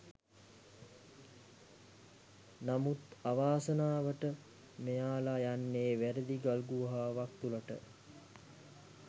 නමුත් අවාසනාවට මෙයාල යන්නේ වැරදි ගල් ගුහාවක් තුලට.